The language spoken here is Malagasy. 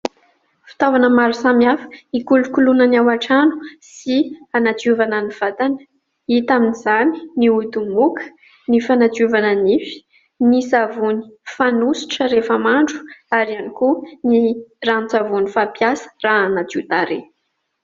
Fitaovana maro samihafa ikolokoloina ny ao an-trano sy hanadiovana ny vatana hita amin'izany ny odimoka, ny fanadiovana nify, ny savony fanositra rehefa mandro ary ihany koa ny ranon-tsavony fampiasa raha hanadio tarehy